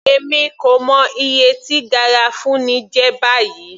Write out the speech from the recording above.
Èmi kò mọ iye tí garafuni jẹ́ báyìí.